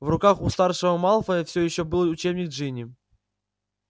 в руках у старшего малфоя все ещё был учебник джинни